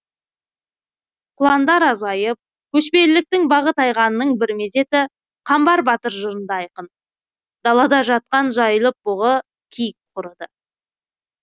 құландар азайып көшпеліліктің бағы тайғанының бір мезеті қамбар батыр жырында айқын далада жатқан жайылып бұғы киік құрыды